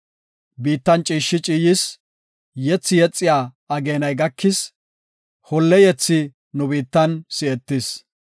Biittan ciishshi ciiyis; yethi yexiya ageenay gakis; holle yethi nu biittan si7etis.